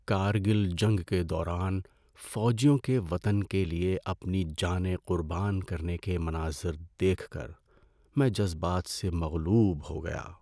کارگل جنگ کے دوران فوجیوں کے وطن کے لیے اپنی جانیں قربان کرنے کے مناظر دیکھ کر میں جذبات سے مغلوب ہو گیا۔